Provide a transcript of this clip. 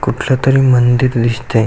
कुठल तरी मंदिर दिसतय.